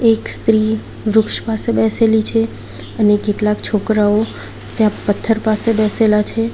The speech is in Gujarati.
એક સ્ત્રી વૃક્ષ પાસે બેસેલી છે અને કેટલાક છોકરાઓ ત્યાં પથ્થર પાસે બેસેલા છે.